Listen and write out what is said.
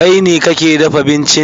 Kai ne kake dafa bincin?